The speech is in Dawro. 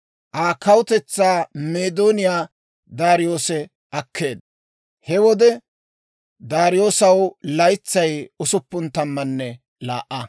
Aa kawutetsaa Meedooniyaa Daariyoose akkeedda. He wode Daariyoosaw laytsay usuppun tammanne laa"a.